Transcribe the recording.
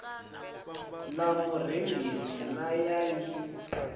ḽa murengisi na ya ḽi